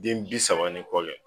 Den bi saba ni kɔle